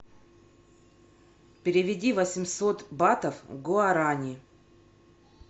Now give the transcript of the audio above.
переведи восемьсот батов в гуарани